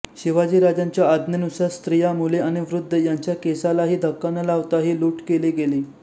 शिवाजीराजांच्या आज्ञेनुसार स्त्रिया मुले आणि वृद्ध यांच्या केसालाही धक्का न लावता ही लूट केली गेली